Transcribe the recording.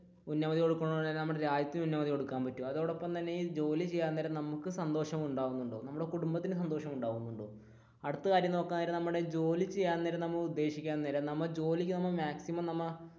ഉന്നമതി കൊടുക്കന്നപോലെ നമ്മുടെ രാജ്യത്തിന് ഉന്നമതി കൊടുക്കാൻ പറ്റോ അതോടൊപ്പം തന്നെ ഈ ജോലി ചെയ്യാൻ നേരം നമുക്ക് സന്തോഷം ഉണ്ടാകുന്നുണ്ടോ നമ്മുടെ കുടുംബത്തിന് സന്തോഷം ഉണ്ടാകുന്നുണ്ടോ അടുത്ത കാര്യം നോക്കാൻ നേരം